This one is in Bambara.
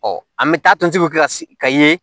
an bɛ taa tonsigi kɛ ka ye